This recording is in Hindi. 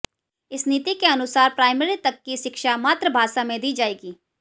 इस नीति के अनुसार प्राइमरी तक की शिक्षा मातृभाषा में दी जाएगी